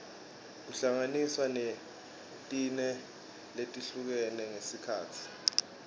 kuhlanganiswa netine letihlukene ngesikhatsi